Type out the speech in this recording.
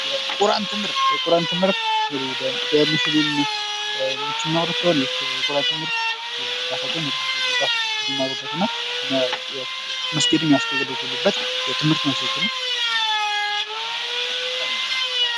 የቁራን ትምህርት የቁራን ትምህርት እንግዲህ በሙስሊሞች የሚማሩት ሲሆን ይህ የቁራን ትምህርት የራሳቸውን የሚማሩበትና መስጊድን የሚያስገለግሉበት የትምህርት መስኮት ነው።